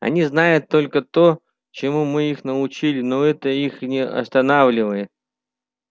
они знают только то чему мы их научили но это их не останавливает